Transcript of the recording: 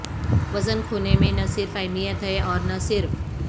وزن کھونے میں نہ صرف اہمیت ہے اور نہ صرف